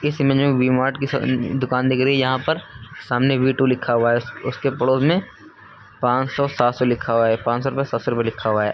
इस इमेज में V Mart की दुकान दिख रही यहाँ पर सामने वी टू लिखा हुआ है उसके पड़ोस में पांच सौ सात सौ लिखा हुआ है। पांच सौ रुपए सात सौ रुपए लिखा हुआ है।